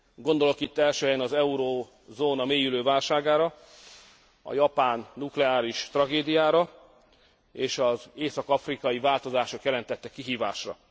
Gondolok itt első helyen az eurózóna mélyülő válságára, a japán nukleáris tragédiára és az észak afrikai változások jelentette kihívásra.